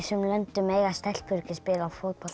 löndum mega stelpur ekki spila fótbolta